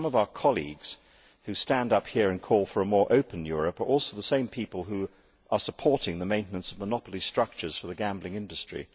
Some of our colleagues, who stand up here and call for a more open Europe, are also the same people who are supporting the maintenance of monopoly structures for the gambling industry.